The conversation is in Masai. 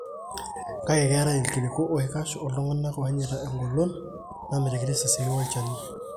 Kake ketae ikiliku oikash o ltunganak onyeita engolon namitiki risasini wolchani.